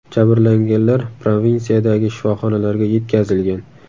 Jabrlanganlar provinsiyadagi shifoxonalarga yetkazilgan.